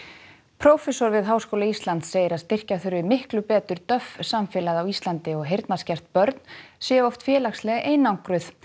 prófessor við Háskóla Íslands segir að styrkja þurfi miklu betur samfélagið á Íslandi og heyrnarskert börn séu oft félagslega einangruð